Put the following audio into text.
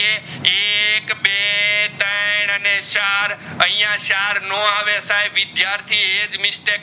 ત્રણ અને ચાર અહીંયા ચાર નો આવે સાહેબ વિદ્યાર્થી એજ mistake